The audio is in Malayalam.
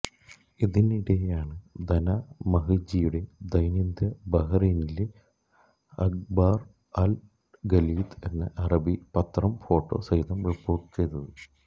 ഇതിനിടെയാണ് ദനാ മഹ്ജിയുടെ ദൈന്യത ബഹ്റൈനിലെ അഖ്ബാര് അല് ഖലീജ് എന്ന അറബി പത്രം ഫോട്ടോ സഹിതം റിപ്പോര്ട്ട് ചെയ്തത്